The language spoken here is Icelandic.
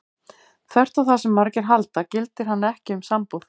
Þvert á það sem margir halda gildir hann ekki um sambúð.